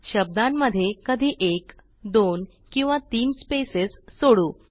शब्दांमध्ये कधी एक दोन किंवा तीन स्पेसेस सोडू